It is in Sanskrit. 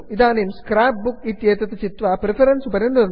इदानीं स्क्रैप् बुक इत्येतत् चित्वा प्रेफरेन्सेस् उपरि नुदन्तु